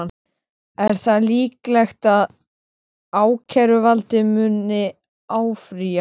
Er þá líklegt að ákæruvaldið muni áfrýja?